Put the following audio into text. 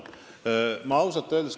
Te küsisite, milline on see sõnum.